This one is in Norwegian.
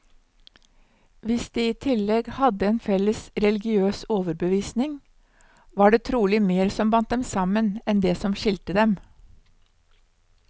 Hvis de i tillegg hadde en felles religiøs overbevisning, var det trolig mer som bandt dem sammen, enn det som skilte dem.